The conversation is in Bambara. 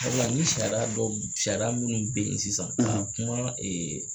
Sabula ni sariya dɔw, ni sariya minnu be yen sisan ka kuma